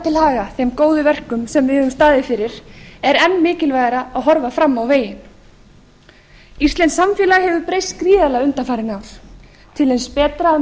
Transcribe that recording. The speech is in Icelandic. haga þeim góðu verkum sem við höfum staðið fyrir er enn mikilvægara að horfa fram á veginn íslenskt samfélag hefur breyst gríðarlega undanfarin ár til hins betra að